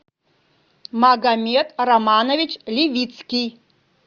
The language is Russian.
магомед романович левицкий